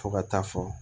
Fo ka taa fɔ